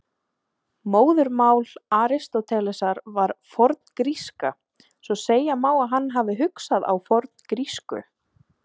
Móðurmál Aristótelesar var forngríska, svo segja má að hann hafi hugsað á forngrísku.